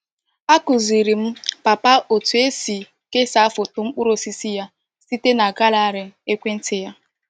Akụziiri m Papa otu esi kesaa foto mkpụrụ osisi ya site na galari ekwentị ya.